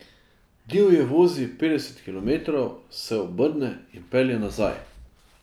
Divje vozi petdeset kilometrov, se obrne in pelje nazaj.